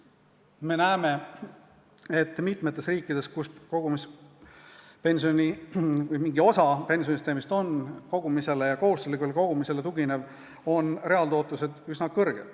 Me näeme, et mitmes riigis, kus on kogumispension või kus mingi osa pensionisüsteemist tugineb kogumisele ja kohustuslikule kogunemisele, on reaaltootlus üsna suur.